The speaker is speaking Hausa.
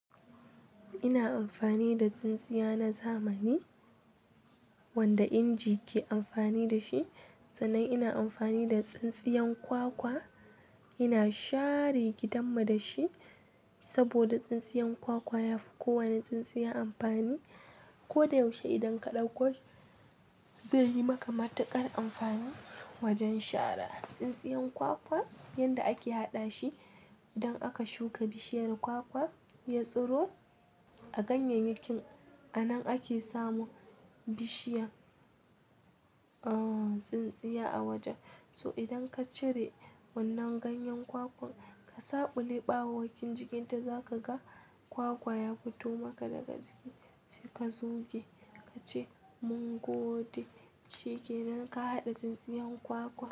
Ina amfani da tsintsiya na zamani wanda inji ke amfani da shi, sannan ina amfani da tsintsiyan kwakwa. Ina share gidanmu da shi saboda tsintsiyan kwakwa yafi kowane tsintsiya amfani. Ko da yaushe idan ka ɗauko zai yi maka matuƙar amfani wajen share. Tsintsiyan kwakwa yanda ake haɗa shi, idan aka shuka bishiyar kwakwa ya tsiro a ganyayyakin a nan ake samu bishiyan,, tsintsiya a wajen. So idan ka cire wannan ganyen kwakwan ka saɓule ɓawowkin jikinta za ka ga kwakwa ya fito maka daga ciki. Ka zuge ka ce mungode shike nan ka haɗa tsintsiyan kwakwa.